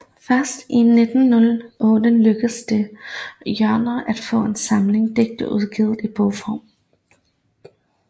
Først i 1908 lykkedes det Hjernø at få en samling digte udgivet i bogform